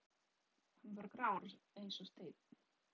Hann var grár eins og steinn.